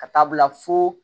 Ka taa bila fo